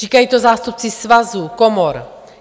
Říkají to zástupci svazů, komor.